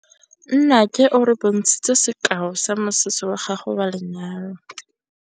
Nnake o re bontshitse sekaô sa mosese wa gagwe wa lenyalo.